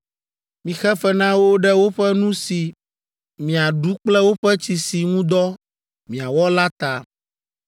Mixe fe na wo ɖe woƒe nu si miaɖu kple woƒe tsi si ŋu dɔ miawɔ la ta.”